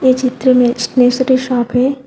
ये चित्र में स्टेशनरी शॉप है।